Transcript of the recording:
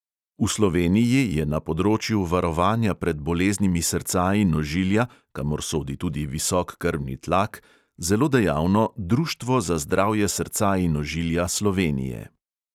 V sloveniji je na področju varovanja pred boleznimi srca in ožilja, kamor sodi tudi visok krvni tlak, zelo dejavno društvo za zdravje srca in ožilja slovenije.